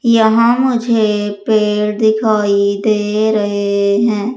यहां मुझे पेड़ दिखाई दे रहे हैं।